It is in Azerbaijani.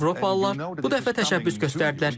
Avropalılar bu dəfə təşəbbüs göstərdilər.